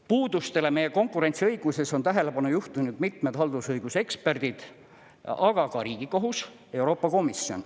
Puudustele meie konkurentsiõiguses on tähelepanu juhtinud mitmed haldusõiguse eksperdid, aga ka Riigikohus, Euroopa Komisjon.